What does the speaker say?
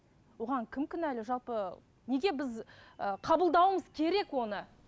оған кім кінәлі жалпы неге біз ы қабылдауымыз керек оны